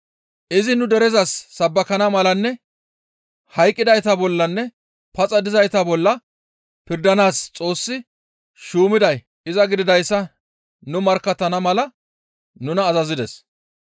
Izi nu derezas sabbakana malanne hayqqidayta bollanne paxa dizayta bolla pirdanaas Xoossi shuumiday iza gididayssa nu markkattana mala nuna azazides.